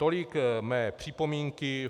Tolik mé připomínky.